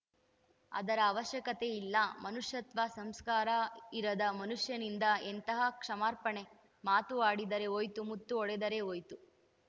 ಅದರ ಅವಶ್ಯಕತೆಯಿಲ್ಲ ಮನುಷ್ಯತ್ವ ಸಂಸ್ಕಾರ ಇರದ ಮನುಷ್ಯನಿಂದ ಎಂತಹ ಕ್ಷಮಾರ್ಪಣೆ ಮಾತು ಆಡಿದರೆ ಹೋಯ್ತು ಮುತ್ತು ಒಡೆದರೆ ಹೋಯ್ತು